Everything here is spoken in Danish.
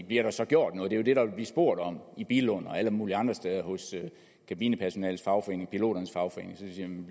bliver der så gjort noget det er jo det der vil blive spurgt om i billund og alle mulige andre steder hos kabinepersonalets fagforening piloternes fagforening